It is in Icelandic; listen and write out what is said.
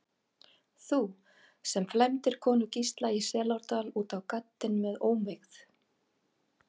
Þú, sem flæmdir konu Gísla í Selárdal út á gaddinn með ómegð.